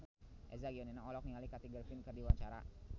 Eza Gionino olohok ningali Kathy Griffin keur diwawancara